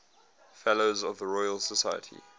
fellows of the royal society